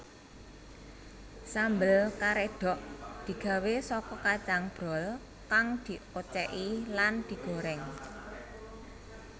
Sambel karedhok digawé saka kacang brol kang diocéki lan digoréng